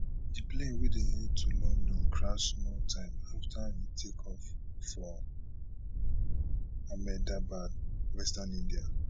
di plane wey dey head to london crash small time afta e takeoff for ahmedabad western india